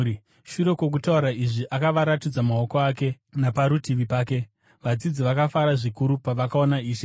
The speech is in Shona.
Shure kwokutaura izvi, akavaratidza maoko ake naparutivi pake. Vadzidzi vakafara zvikuru pavakaona Ishe.